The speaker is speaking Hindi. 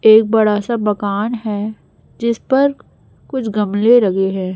एक बड़ा सा बागान है जिस पर कुछ गमले लगे है।